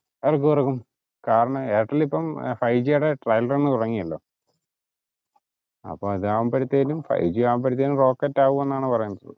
ഇറാക്കു ഇറക്കും കാരണം എയർടെൽ ഇപ്പം trial run തുടങ്ങിയല്ലോ അപ്പൊ അതാവുമ്പോഴത്തെലും ഫൈവ് ജി ആവുമ്പോഴത്തെലും rocket ആവും എന്നാണ് പറയുന്നത്